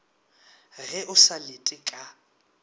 ge o sa lete ka